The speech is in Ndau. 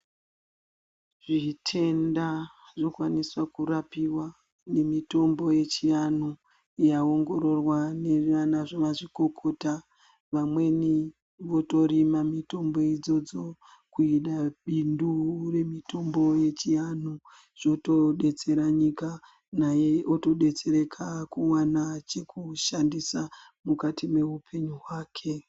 Zvitenda zvinokwanisa kurapiwa nemitombo yechianhu yaongororwa nana mazvikokota. Vamweni votorima mitombo idzodzo kuita bindu remitombo yechianhu, zvotodetsera nyika, naiye otodetsereka kuwana chekushandisa mukati meupenyu hwake.